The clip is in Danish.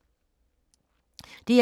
DR2